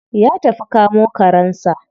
Ya tafi kamo karensa.